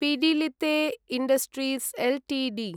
Pidilite industries Ltd